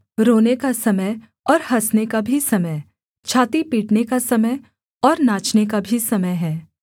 रोने का समय और हँसने का भी समय छाती पीटने का समय और नाचने का भी समय है